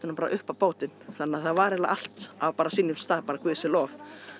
bara upp á bátinn þannig að það var eiginlega bara allt á sínum stað bara Guði sé lof